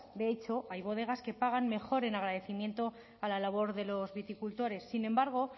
de hecho hay bodegas que pagan mejor en agradecimiento a la labor de los viticultores sin embargo